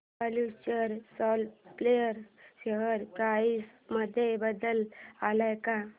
future supply share price मध्ये बदल आलाय का